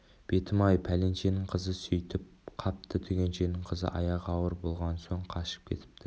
бетім-ай пәленшенің қызы сөйтіп қапты түгеншенің қызы аяғы ауыр болған соң қашып кетіпті